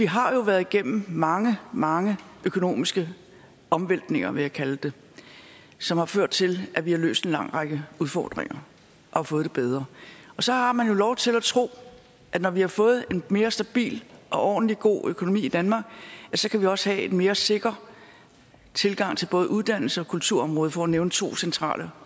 har været igennem mange mange økonomiske omvæltninger vil jeg kalde det som har ført til at vi har løst en lang række udfordringer og fået det bedre og så har man jo lov til at tro at når vi har fået en mere stabil og ordentlig god økonomi i danmark kan vi også have en mere sikker tilgang til både uddannelses og kulturområdet for at nævne to centrale